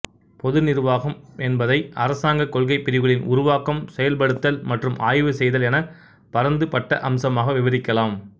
பொது நிர்வாகம் என்பதை அரசாங்கக் கொள்கைப் பிரிவுகளின் உருவாக்கம் செயல்படுத்தல் மற்றும் ஆய்வு செய்தல் என பரந்துபட்ட அம்சமாக விவரிக்கலாம்